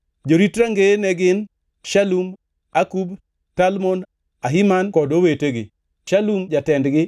Jorit rangeye ne gin: Shalum, Akub, Talmon, Ahiman kod owetegi; Shalum jatendgi